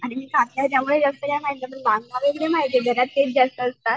आणि बांगडा वगैरे माहित आहे घरात तेच जास्त असतात.